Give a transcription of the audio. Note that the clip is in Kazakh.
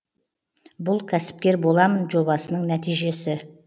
бұл кәсіпкер боламын жобасының нәтижесі